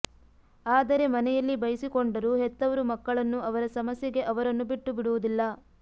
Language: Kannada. ಆದರೆ ಮನೆಯಲ್ಲಿ ಬೈಸಿಕೊಂಡರೂ ಹೆತ್ತವರು ಮಕ್ಕಳನ್ನು ಅವರ ಸಮಸ್ಯೆಗೆ ಅವರನ್ನು ಬಿಟ್ಟುಬಿಡುವುದಿಲ್ಲ